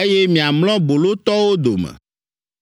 eye miamlɔ bolotɔwo dome.’